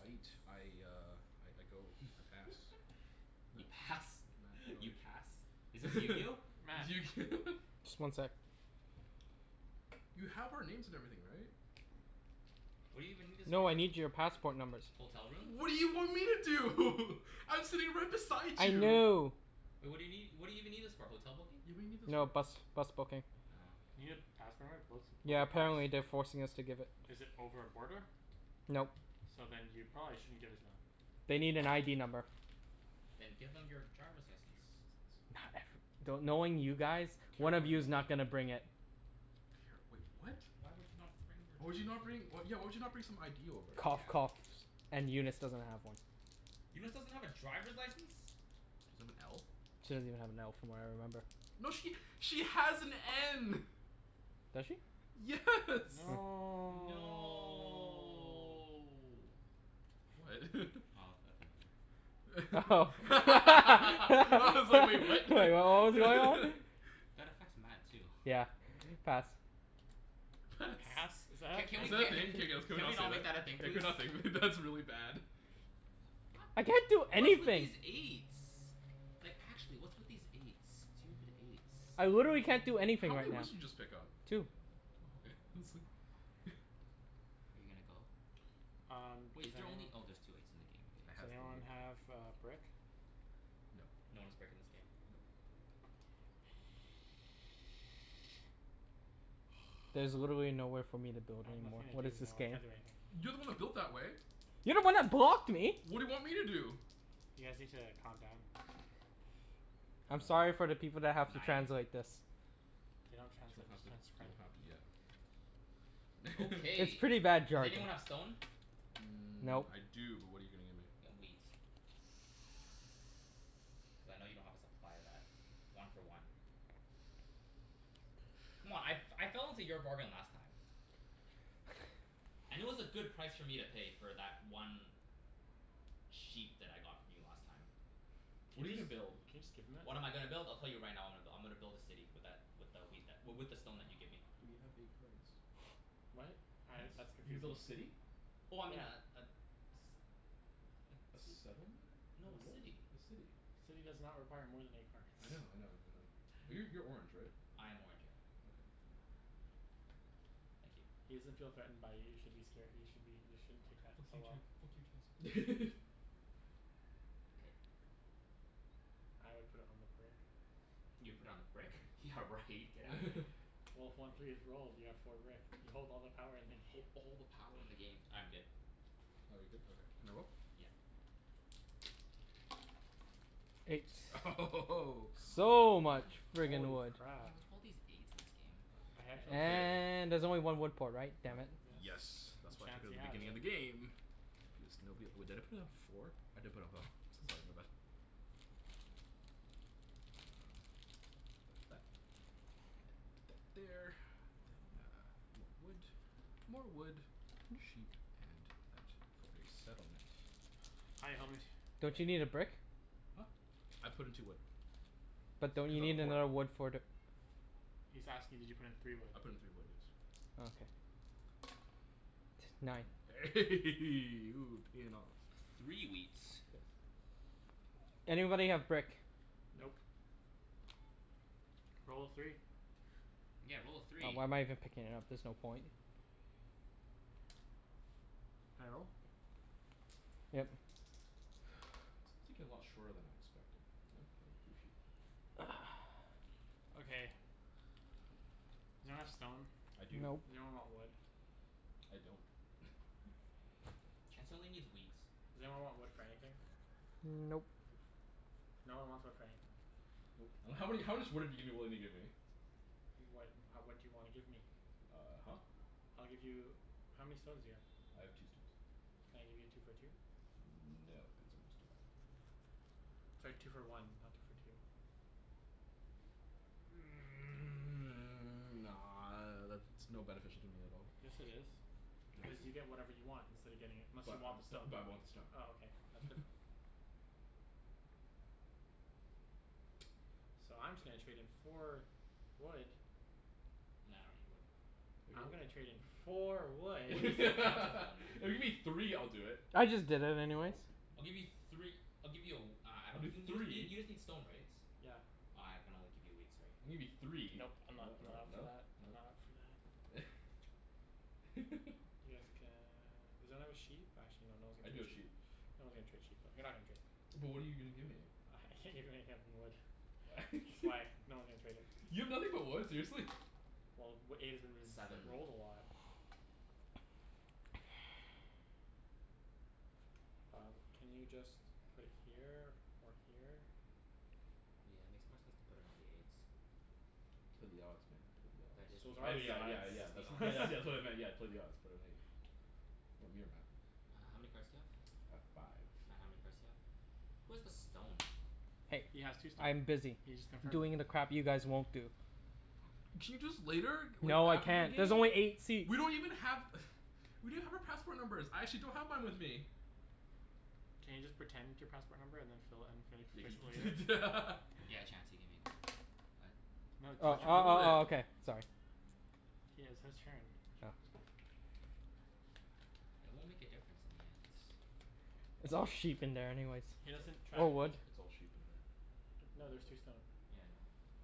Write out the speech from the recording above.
Aight. I uh I go, I pass. You Matt, pass? Matt go, You pass? Is this your Matt. turn Just one sec. You have our names and everything right? What do you even need this for? No, I need your passport numbers. Hotel room? What do you want me to do? I'm sitting right beside I you. know. Wai- what do you nee- what do you even need this for? Hotel booking? Yeah, what do you need this No, for? bus bus booking. Oh. You need a passport number to book, book Yeah, a bus? apparently they're forcing us to give it. Is it over a border? Nope. So then you probably shouldn't give it to them. They need an ID number. Then give them your driver's license. Not ever- do- knowing you guys, Care one of card you's not number. gonna bring it. Care, wait what? Why would you not bring your Why would you not driver's li- bring, yeah why would you not bring some ID over? Cough Yeah. coughs and Eunice doesn't have one. Eunice doesn't have a driver's license? She doesn't have an L? She doesn't even have an L from what I remember. No she, she has an N. Does she? Yes. Hmm. No No What? Oh, that number. Oh I Like was like "wait, what?" what was going on? That affects Matt too. Yeah, pass. Pass. Pass? Is Is that a that Ca- thing? Can can we ca- we a not, can we Can not we say not make that that? a thing Yeah please? can we not? That's really bad. I can't do What's with anything. these eights? Like actually, what's with these eights? Stupid eights. I literally can't do anything How right many now. woods did you just pick up? Two. Oh okay, I was like Are you gonna go? Um, Wait, does is there only, anyone oh there's two eights in the game. I Does has the anyone have K, a brick? No. No one has brick in this game. Nope. There's literally nowhere for me to build I have anymore. nothing to What do. is No, this I game? can't do anything. You're the one that built that way. You're the one that blocked me. What do you want me to do? You guys need to calm down. I'm sorry for the people that have to Nine? translate this. They don't You translate. don't have Just to you transcribe don't it. have to, yeah. It's Okay, pretty bad does jerk. anyone have stone? Mmm, Nope. I do but what're you gonna give me? Y- wheat. Cuz I know you don't have a supply of that. One for one. C'mon, I f- I fell into your bargain last time. And it was a good price for me to pay for that one sheep that I got from you last time. Can What are you you just, gonna build? can you just give him it? What am I gonna build? I'll tell you right now I'm go- I'm gonna build a city with that, with a wheat that w- with the stone that you give me. But you have eight cards. What? Uh that's What? You're gonna confusing. build a city? Oh I mean a Yeah. a s- A a ci- settlement? no a What? city. A city. City does not require more than eight cards I know I know I know. Uh Yeah. you're you're orange right? I am orange, yeah. Okay, I'm out. Thank you. He doesn't feel threatened by you, you should be scare- you should be, you shouldn't take that Fuck so you Chan- well. fuck you Chancey. K. I would put it on the brick. You put on the brick? Yeah right, get out of here. Well, if one three is rolled you have four brick. You hold all the power in the Hold game. all the power in the game. I'm good. Oh you're good? Okay, can I roll? Yeah. Eight. Eight Come So much on. Yeah friggin' Holy wood. crap. what's with all these eights in this game? A handshake. Okay. And there's only one wood port, right? Uh Damn it. yes, Yes and that's why I took it at Chancey the has beginning of the it. game. Because nobody, wait, did I put down four? I did put down f- sorry my bad. Um so that's that. And put that there. And then uh more wood, more wood, sheep and that for a settlement. Hi, homie. And Don't you that need a brick? Huh? I put in two wood. But don't Cuz you I have need a port. another wood for the He's asking did you put in three wood? I put in three wood, yes. Okay. Nine. Ooh, payin' off. A three wheat. Anybody have brick? Nope. Nope. Roll a three. Yeah, roll a Oh, three. why am I even picking it up? There's no point. Can I roll? Yep. This game's taking a lot shorter than I expected, you know? Hey, three sheep. Okay. Does anyone have stone? I do. Nope. Does anyone want wood? I don't. Chancey only needs wheat. Does anyone want wood for anything? Nope. Nope. No one wants wood for anything. Nope. And how many, how much wood are you giving, willing to give me? What, ha- what do you wanna give me? Uh huh. I'll give you, how many stones do you have? I have two stones. Can I give you two for two? No, because I just did that. Sorry, two for one, not two for two. Nah, that's no beneficial to me at all. Yes it is, No cuz you get dude. whatever you want instead of getting it, unless you But uh want the stone. bu- but I want the stone Oh okay, that's different. So I'm just gonna trade in four wood No, I don't need wood. If you're I'm go- gonna trade in four wood. Wood If is so plentiful man. you give me three I'll do it. I just did it anyways. Nope. I'll give you three I'll give you a w- uh I I'll don- do y- you just need, three. you just need stone right? Yeah. Uh I can only give you wheat, sorry. Gimme three. No Nope. I'm not, no I'm not up for no that, I'm no. not up for that. Yes can, does anyone have a sheep? Actually no, no one's I gonna do trade have sheep. sheep. No one's gonna trade sheep though, you're not gonna trade. But what're you gonna give me? I can't give you anything other than wood. That's why no one's gonna trade it. You have nothing but wood, seriously? Well, w- eight has been ris- Seven. Seven rolled a lot. Um, can you just put it here or here? Yeah, makes more sense to put it on the eight. Play the odds man, play the odds. That is the So those are I odds. mea- the yeah Yeah, yeah that is yeah, the that's odds. wha- odds. that's what I meant, yeah, play the odds, put it on eight. Want me or Matt? Uh how many cards do you have? I have five. Matt, how many cards do you have? Who has the stone? Hey, He has two stone. I'm busy He just confirmed it. doing the crap you guys won't do. Can you do this later? W- No, I after the can't. game? There's only eight seats. We don't even have We don't have our passport numbers. I actually don't have mine with me. Can you just pretend your passport number and then just fill it, and fill, Yeah can fix it later? you prete- Yeah, Chancey, give me a card. Uh No Uh t- Why he's oh would you not. roll oh it? oh okay, sorry. He has his turn. It won't make a difference in the end. It's all sheep in there anyways. He It's like, doesn't it's track Or wood. it's it's all sheep in there. No there's two stone. Yeah, I know.